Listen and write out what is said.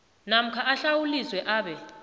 namkha ahlawuliswe abe